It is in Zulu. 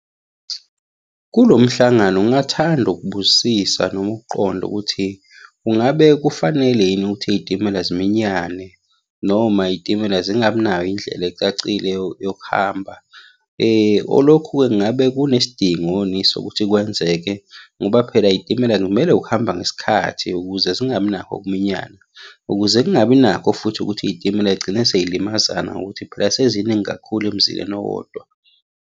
Kulo mhlangano ngingathanda ukubuzisisa noma ukuqonda ukuthi kungabe kufanele yini ukuthi iy'timela ziminyane noma iy'timela zingabi nayo indlela ecacile yokuhamba. Olokhu-ke ngabe kunesidingoni sokuthi kwenzeke, ngoba phela iy'timela kumele ukuhamba ngesikhathi ukuze zingabi nakho ukuminyana, ukuze kungabi nakho futhi ukuthi iy'timela iy'gcine sey'limaza ngokuthi phela seziningi kakhulu emzileni owodwa.